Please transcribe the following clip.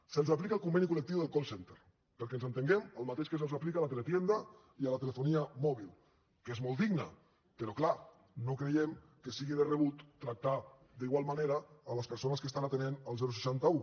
se’ls aplica el conveni col·lectiu del call centre perquè ens entenguem el mateix que se’ls aplica a la teletienda i a la telefonia mòbil que és molt digne però clar no creiem que sigui de rebut tractar d’igual manera les persones que estan atenent el seixanta un